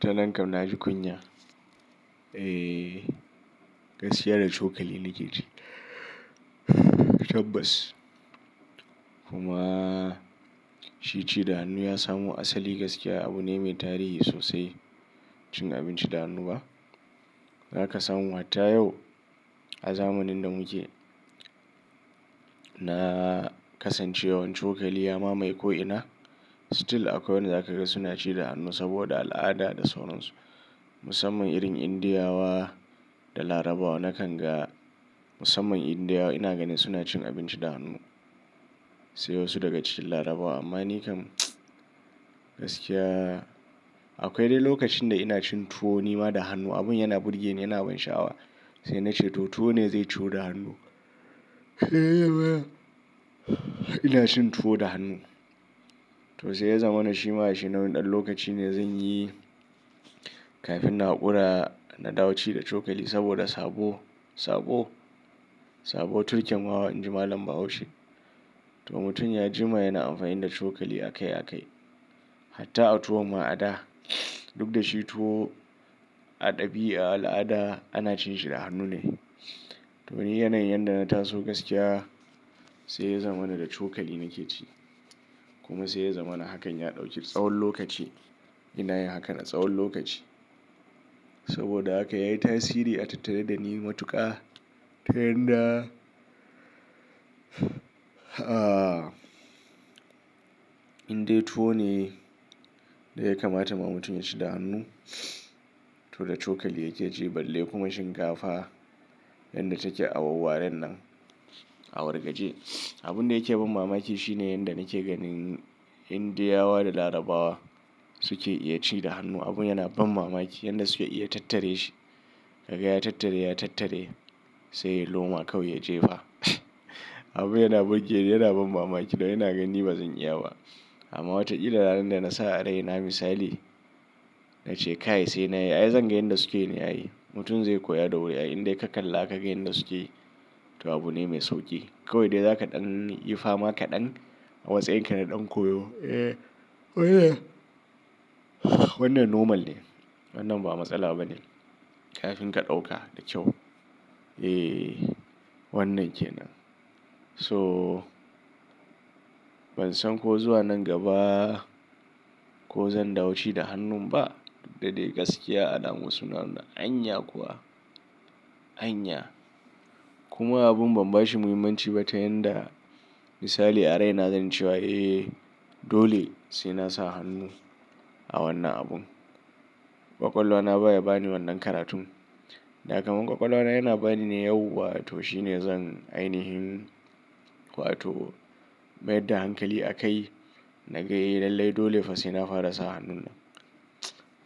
Ta nan kam na ji kunya. Gaskiya da cokali nake ci. Tabbas. Kuma shi ci da hannu ya samu asali gaskiya abu ne mai tarihi sosai. Cin abinci da hannu ba. Za ka samu har ta yau a zamanin da muke na kasancewan cokali ya mamai ko ina. Still akwai wanda za ka ga suna ci da hannu saboda al'ada da sauran su. Musamman irin Indiyawa da Larabawa. Na kan ga musamman Indiyawa ina ganin suna cin abinci da hannu. Sai wasu daga cikin Larabawa. Amma ni kam gaskiya akwai dai lokacin da ina cin tuwo ni ma da hannu. Abun yana burge ni, yana ban sha'awa. Sai na ce to tuwo ne zai ci da hannu. Ina cin tuwo da hannu. To sai ya zama na shima shi nau'in ɗan lokaci ne zan yi kafin na haƙura na dawo ci da cokali saboda sabo, sabo, sabo tukyan ma wani jima lambar haushi. To mutum ya jima yana amfani da cokali a kai a kai. Hatta a tuwo ma a da. Duk da shi tuwo a ɗabi'a, a al'ada ana cin shi da hannu ne. To ni yanayin yadda na taso gaskiya sai ya zama na da cokali nake ci. Kuma sai ya zama na hakan ya ɗauki tsawon lokaci. Ina yin hakan a tsawon lokaci. Saboda haka yayi tasiri a tattare da ni matuƙa. Ta yanda indai tuwo ne da ya kamata ma mutum ya ci da hannu. To da cokali yake ci balle kuma shinkafa yadda take a wawarren nan a wargaje. Abun da yake ban mamaki shine yanda nake ganin Indiyawa da Larabawa suke iya ci da hannu. Abun yana ban mamaki. Yanda suke iya tattare shi. Kaga ya tattare, ya tattare sai loma kawai ya jefa. Abun yana burge ni, yana ban mamaki. Dan yana ganin ba zan iya ba. Amma wataƙila ranar da na sa a rai na misali na ce ka yi sai na yi. Ai zan ga yanda suke ne a yi. Mutum zai koya da wuri ai. Indai ka kalla ka ga yanda suke to abu ne mai sauƙi. Kawai dai za ka ɗan yi fama ka ɗan a matsayin ka na ɗan koyo. Wannan normal ne. Wannan ba matsala bane. Kafin ka ɗauka da kyau. Wannan kenan. So ban san ko zuwa nan gaba ko zan dawo ci da hannun ba. Duk da dai gaskiya a ɗan wasu suna na anya kuwa, anya. Kuma abun ban bashi muhimmanci ba ta yanda misali a rai na zai ciwa. Dole sai nasa hannu a wannan abun. Kwakwalwa na baya bani wannan karatun. Da kamar kwakwalwa na yana bani ne yau. Wato shine zan ainihin. Wato mayar da hankali a kai na ga lallai dole fa sai na fara sa hannun nan.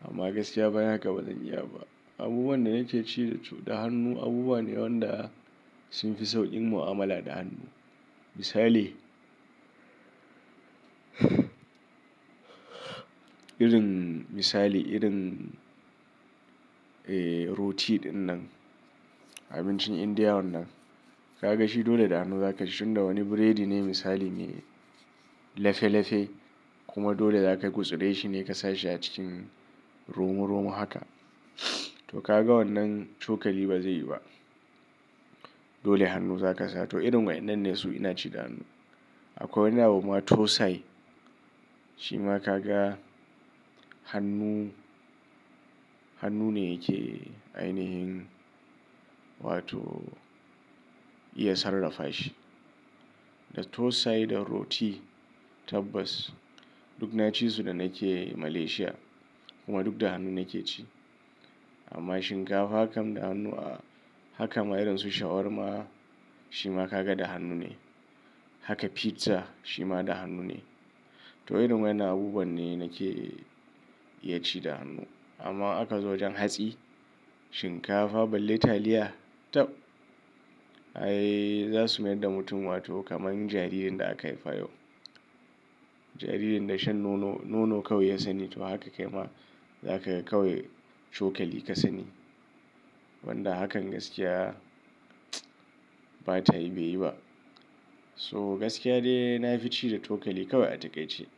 Amma gaskiya bayan haka ba zan iya ba. Abubuwan da nake ci da da hannu abubuwa ne waɗanda sun fi sauƙin mu'amala da hannu. Misali irin misali irin roti ɗin nan. Abincin Indiya wannan. Ka ga shi dole da hannu za ka ci. Tun da wani burodi ne misali ne lefe lefe. Kuma dole za ka gutsura shi ne ka sashi a cikin romo romo haka. To ka ga wannan cokali ba zai yi ba. Dole hannu za ka sa. To irin waɗannan ne su ina ci da hannu. Akwai wani abu ma tosai. Shi ma ka ga hannu, hannu ne yake ainihin. Wato iya sarrafa shi. Da tosai da roti tabbas. Duk na ci su da nake Malaysia. Kuma duk da hannu nake ci. Amma shinkafa hakan da hannu a haka ma irin su shawarma shi ma ka ga da hannu ne. Haka pizza shi ma da hannu ne. To irin waɗannan abubuwa ne nake iya ci da hannu. Amma aka zo wajen hatsi, shinkafa balle taliya tab. Ai za su mayar da mutum wato kamar jaririn da aka haifa yau. Jaririn da shan nono, nono kawai ya sani. To haka kai ma za ka kawai cokali ka sani. Wanda hakan gaskiya ba tayi biyi ba. So gaskiya dai na fi ci da cokali kawai a taƙaice.